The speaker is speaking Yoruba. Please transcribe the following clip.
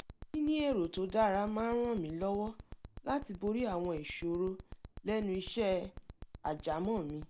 níní èrò tó dára máa ń ràn mí lọ́wọ́ láti borí àwọn ìṣòro lẹ́nu iṣẹ́ àjámọ́ mi